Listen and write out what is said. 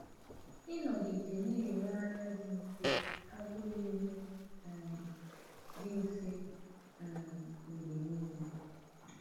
Ịnọgide na-enwe anya dị mfe abụghị ihe um dị mfe um mgbe niile.